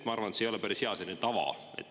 Ma arvan, et see ei ole päris hea selline tava.